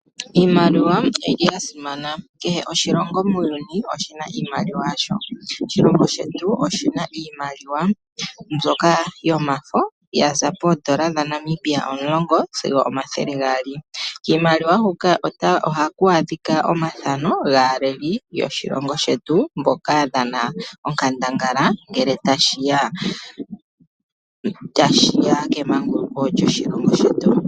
Iimaliwa oyili yasimana kehe oshilongo muuyuni oshina iimaliwa yasho. Oshilongo shetu oshina iimaliwa mbyoka yomafo ya za poodola dhaNamibia omulongo sigo omathele gaali. Kiimaliwa huka oha ku adhika omafano gaaleli yoshilongo shetu mboka yadhana onkandangala ngele tashiya kemanguloko lyoshilongo shetu.